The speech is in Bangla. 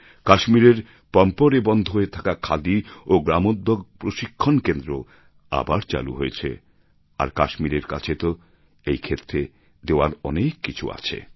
কাশ্মীরের পম্পোরে বন্ধ হয়ে থাকা খাদি ও গ্রামোদ্যোগ প্রশিক্ষণ কেন্দ্র আবার চালু হয়েছে আর কাশ্মীরের কাছে তো এই ক্ষেত্রে দেওয়ার অনেক কিছু আছে